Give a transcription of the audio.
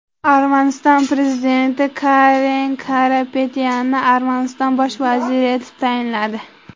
Armaniston prezidenti Karen Karapetyanni Armaniston bosh vaziri etib tayinladi.